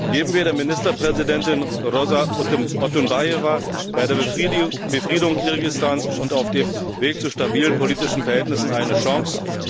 Geben wir der Ministerpräsidentin Rosa Otunbajewa bei der Befriedung Kirgisistans und auf dem Weg zu stabilen politischen Verhältnissen eine Chance!